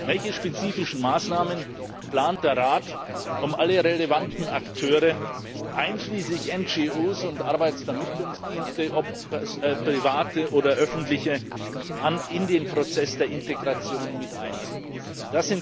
Welche spezifischen Maßnahmen plant der Rat, um alle relevanten Akteure einschließlich NGOs und Arbeitsvermittlungsdiensten, seien es private oder öffentliche, in den Prozess der Integration mit einzubeziehen?